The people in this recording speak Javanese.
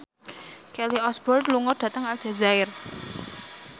Kelly Osbourne lunga dhateng Aljazair